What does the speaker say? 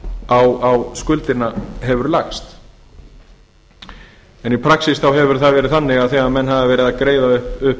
á skuldina hefur lagst í praxís hefur það verið þannig að þegar menn hafa verið að greiða upp